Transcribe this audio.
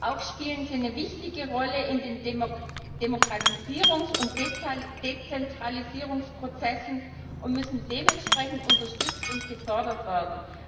Auch spielen sie eine wichtige Rolle in den Demokratisierungs und Dezentralisierungsprozessen und müssen dementsprechend unterstützt und gefördert werden.